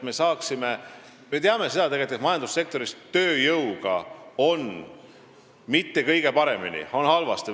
Me teame seda, et tööjõuga ei ole majandussektoris mitte kõige paremini, pigem on halvasti.